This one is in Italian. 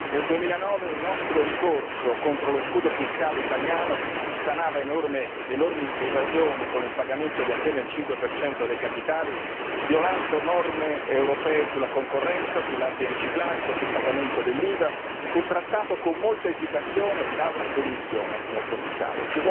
Nel 2009, un nostro ricorso contro lo scudo fiscale italiano sanava enormi evasioni con il pagamento di appena il 5 dei capitali, violando norme europee sulla concorrenza, sull'antiriciclaggio, sul pagamento dell'IVA, e fu trattato con molta esitazione dalla Commissione, signor Commissario.